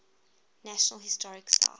national historic site